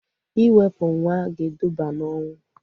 Iwepu nwa ga eduba na ọnwụ